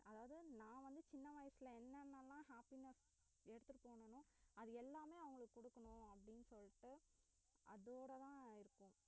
அதாவது நான் வந்து சின்ன வயசுல என்னன்னலாம் happiness எடுத்துட்டு போனானோ அது எல்லாமே அவுங்களுக்கு குடுக்கணும் அப்படினு சொல்லிட்டு அதோடதான் இருக்கேன்